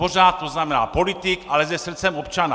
Pořád, to znamená politik, ale se srdcem občana.